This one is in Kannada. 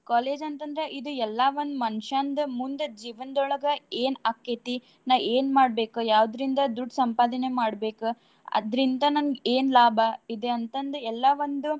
College ಅಂತಂದ್ರ ಇದು ಎಲ್ಲಾ ಒಂದ್ ಮನುಷ್ಯಂದ್ ಮುಂದ್ ಜೀವನ್ದೋಳ್ಗ ಏನ್ ಅಕ್ಕೆತಿ ನಾ ಏನ್ ಮಾಡ್ಬೇಕ್ ಯಾವ್ದ್ರಿಂದ ದುಡ್ಡ್ ಸಂಪಾದನೆ ಮಾಡ್ಬೇಕ್ ಅದ್ರಿಂದ ನನ್ಗ್ ಏನ್ ಲಾಭ ಇದೆ ಅಂತಂದ್ ಎಲ್ಲಾ ಒಂದು.